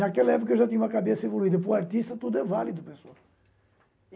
Naquela época eu já tinha uma cabeça evoluída, por artista tudo é válido pessoal.